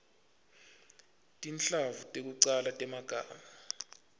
tinhlavu tekucala temagama